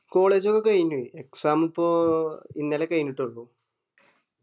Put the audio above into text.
college ഒക്കെ കൈഞ്ഞ് exam ഇപ്പൊ ഇന്നലെ കൈഞ്ഞിട്ടാ ഇള്ളു